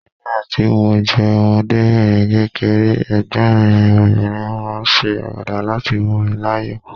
Nígbà tí mo jẹ́ ọmọdébìnrin kékeré, ẹ̀gbọ́n mi obìnrin máa ń ṣe àwàdà láti mú mi láyọ̀